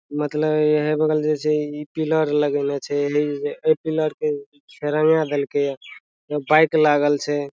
मतलब एहे बगल जे छे इ पिलर लगएने छे इ पिलर के रंगा देलके बाइक लागल छे।